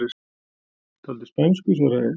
Dálítið spænsku, svaraði ég.